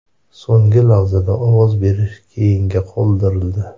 So‘nggi lahzada ovoz berish keyinga qoldirildi.